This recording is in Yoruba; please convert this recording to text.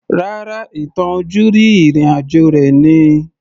Rárá, ìtàn ojúrí ìrìn àjò rẹ̀ ni